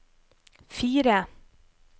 fire